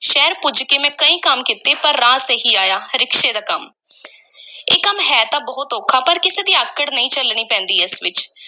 ਸ਼ਹਿਰ ਪੁੱਜ ਕੇ ਮੈਂ ਕਈ ਕੰਮ ਕੀਤੇ ਪਰ ਰਾਸ ਇਹੀ ਆਇਆ ਰਿਕਸ਼ੇ ਦਾ ਕੰਮ ਇਹ ਕੰਮ ਹੈ ਤਾਂ ਬਹੁਤ ਔਖਾ ਪਰ ਕਿਸੇ ਦੀ ਆਕੜ ਨਹੀਂ ਝੱਲਣੀ ਪੈਂਦੀ ਇਸ ਵਿੱਚ।